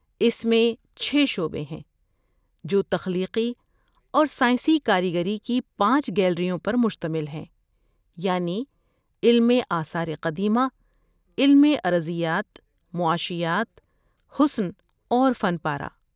اس میں چھ شعبے ہیں جو تخلیقی اور سائنسی کاریگری کی پانچ گیلریوں پر مشتمل ہیں، یعنی علم آثار قدیمہ، علم ارضیات، معاشیات، حسن اور فن پارہ۔